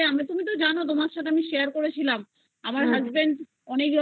মধ্যে তুমি তো জানো তোমার সাথে আমি share করেছিলাম আমার Husband অনেক